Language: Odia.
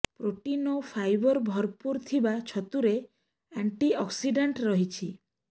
ପ୍ରୋଟିନ୍ ଓ ଫାଇବର ଭରପୂର ଥିବା ଛତୁରେ ଆଣ୍ଟିଅକ୍ସିଡାଣ୍ଟ ରହିଛି